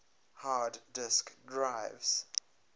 hard disk drives